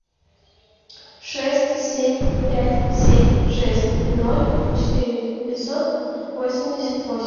шесть семь пять семь шесть ноль четыре пятьсот восемьдесят восемь